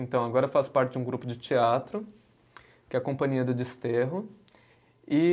Então agora eu faço parte de um grupo de teatro, que é a Companhia do Desterro. E